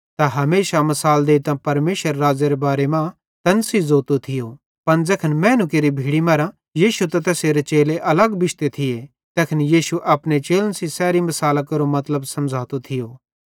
तै हमेशा मिसाल देइतां परमेशरेरे राज़्ज़ेरे बारे मां तैन सेइं ज़ोतो थियो पन ज़ैखन मैनू केरि भीड़ी मरां यीशु त तैसेरे चेले अलग बिश्ते थिये तैखन यीशु अपने चेलन सेइं सैरी मिसालां केरो मतलब समझ़ोतो थियो